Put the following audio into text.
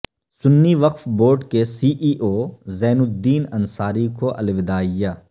سنی Waqf board کے C E O Wazeenuddin Ansari کو الوداعیہ